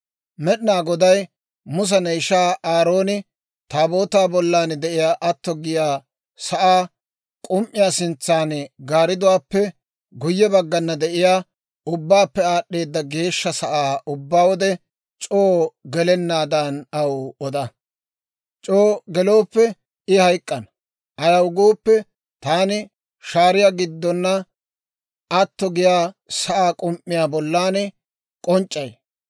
«Med'inaa Goday Musa, ne ishay Aarooni Taabootaa bollan de'iyaa atto giyaa sa'aa k'um"iyaa sintsan gaaridduwaappe guyye baggana de'iyaa Ubbaappe Aad'd'eeda Geeshsha Sa'aa ubbaa wode c'oo gelenaadan aw oda. C'oo gelooppe I hayk'k'ana; ayaw gooppe, Taani shaariyaa giddona atto giyaa sa'aa k'um"iyaa bollan k'onc'c'ay.